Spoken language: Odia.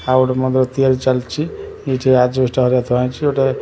ଆଉ ଗୋଟେ ମନ୍ଦିର ତିଆରି ଚାଲିଛି ଏଠି ଆଜବେଷ୍ଟସ ହେରିକା ଥୁଆ ହେଇଛି ଗୋଟେ।